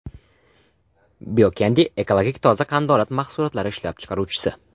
Bio Candy Ekologik toza qandolat mahsulotlari ishlab chiqaruvchisi.